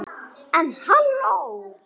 En halló.